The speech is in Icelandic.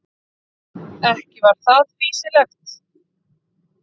Ekki var það fýsilegt.